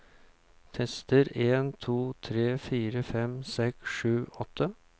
Tester en to tre fire fem seks sju åtte